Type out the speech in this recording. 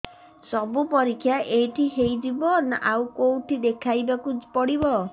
ସବୁ ପରୀକ୍ଷା ଏଇଠି ହେଇଯିବ ନା ଆଉ କଉଠି ଦେଖେଇ ବାକୁ ପଡ଼ିବ